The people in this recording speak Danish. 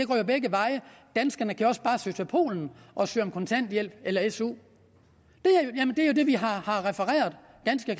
går jo begge veje danskerne kan også bare søge til polen og søge om kontanthjælp eller su det er jo det vi har set refereret ganske